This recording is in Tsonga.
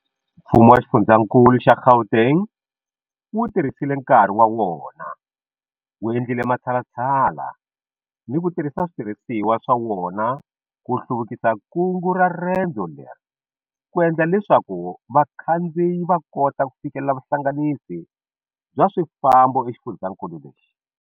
Mfumo wa Xifundzankulu xa Gauteng wu tirhisile nkarhi wa wona, wu endlile matshalatshala ni ku tirhisa switirhisiwa swa wona ku hluvukisa nkungu ra rendzo leri ku endla leswaku vakhandziyi va kota ku fikelela vuhlanganisi bya swifambo exifundzeninkulu lexi.